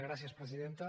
gràcies presidenta